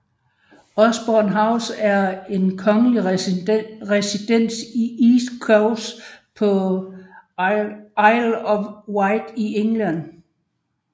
Osborne House var en kongelig residens i East Cowes på Isle of Wight i England